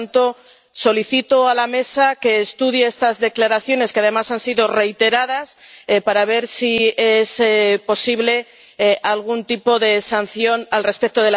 Por lo tanto, solicito a la Mesa que estudie estas declaraciones, que además han sido reiteradas, para ver si es posible algún tipo de sanción al respecto.